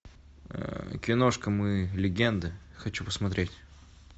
киношка мы легенды хочу посмотреть